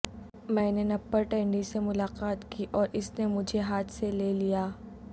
میں نے Napper Tandy سے ملاقات کی اور اس نے مجھے ہاتھ سے لے لیا